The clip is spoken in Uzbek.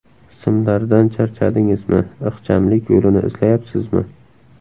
Simlardan charchadingizmi, ixchamlik yo‘lini izlayapsizmi!